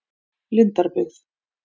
Lindarbyggð